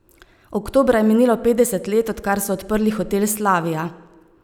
Oktobra je minilo petdeset let, odkar so odprli hotel Slavija.